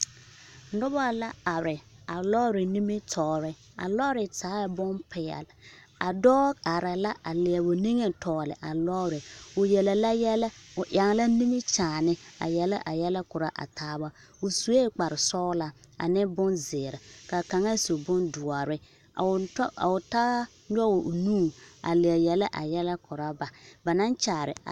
Nobo la are a lɔɔre nimitɔɔre a lɔɔre taaɛ bompeɛl a dɔɔ are la a leɛ o niŋe tɔgli a lɔɔre o yele la yɛlɛ o eŋ la nimikyaani a yele a yɛlɛ korɔ a taaba o suɛ kparrsɔglaa ane bonzeere ka kaŋa su bondoɔre a o tɔ a o taa nyɔg o nu a leɛ yele a yɛlɛ korɔ ba naŋ kyaare a.